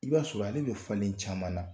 I b'a sɔrɔ ale bɛ falen caman na